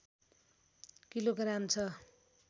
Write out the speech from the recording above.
kilogram छ